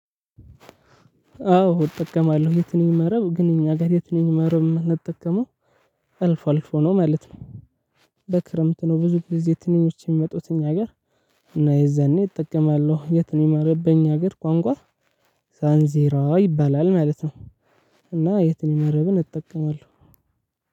አዎ እጠቀማለሁ የትንኝ መረብ ግን እኛ ጋር የትንኝ መረብ የምንጠቀመው አልፎ አልፎ ነው ማለት ነው። በክረምት ነው ብዙ ጊዜ ትንኞች የሚመጡት እኛ ጋር እና የዛኔ እጠቀማለሁ የትንኝ መረብ በኛ ሀገር ቋንቋ ሳንዜራ ይባላል ማለት ነው እና የትንኝ መረብን እጠቀማለሁ።